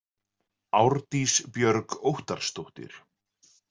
Árdís Björg Óttarrsdóttir.